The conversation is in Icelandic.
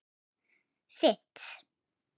Þeir geta synt.